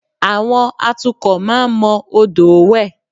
À̀wọn atukọ̀ máa ń mọ odòó wẹ̀